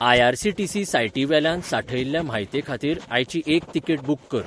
IRCTC. साइटीवेल्यान सांठयिल्ल्या म्हायतेखातीर आयची एक तिकेट बूक कर